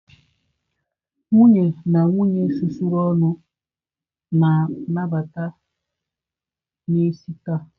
Nwunye na nwunye susuru ọnụ na nnabata n'isi taa.